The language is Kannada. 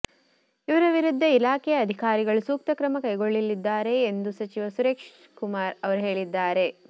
ಅವರ ವಿರುದ್ಧ ಇಲಾಖೆಯ ಅಧಿಕಾರಿಗಳು ಸೂಕ್ತ ಕ್ರಮ ಕೈಗೊಳ್ಳಲಿದ್ದಾರೆ ಎಂದು ಸಚಿವ ಸುರೇಶ್ಕುಮಾರ್ ಅವರು ಹೇಳಿದ್ದಾರೆ